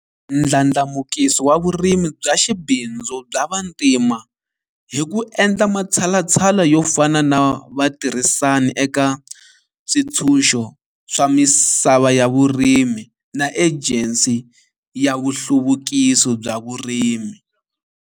Ndlandlamukiso wa vurimi bya xibindzu bya vantima hi ku endla matshalatshala yo fana na Vatirhisani eka Switshunxo swa Misava ya Vurimi na Ejensi ya Nhluvukiso wa Vurimi.